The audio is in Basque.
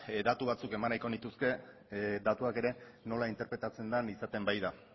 datu batzuk eman nahiko nituzke datuak ere nola interpretatzen den izaten baita